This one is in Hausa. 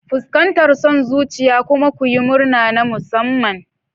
Fuskantar son zuciya kuma ku yi murna na musamman.